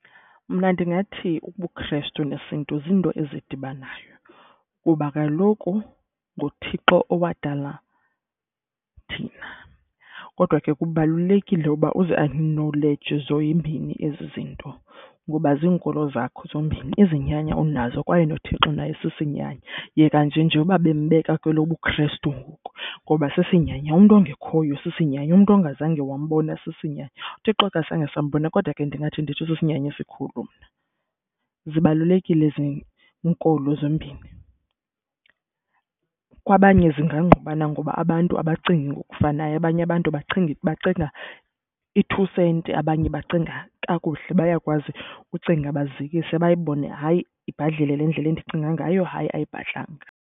Mna ndingathi ubuKhrestu nesiNtu ziinto ezidibanayo kuba kaloku nguThixo owadala thina. Kodwa ke kubalulekile uba uziakhnoleyije zombini ezi zinto ngoba ziinkolo zakho zombini, izinyanya unazo kwaye noThixo naye sisinyanya. Yeka nje nje uba bembeka kwelobuKhrestu ngoku ngoba sisinyanya. Umntu ongekhoyo sisinyanya, umntu ongazange wambona sisinyanya. UThixo asizange sombona kodwa ke ndingathi nditsho sisinyanya esikhulu mna. Zibalulekile ezi nkolo zombini. Kwabanye zingqubana ngoba abantu abacingi ngokufanayo, abanye abantu bacinga bacinga i-two senti, abanye bacinga kakuhle. Bayakwazi ucinga bazikise bayibone, hayi ibhadlile le ndlela endicinga ngayo, hayi ayibhadlanga.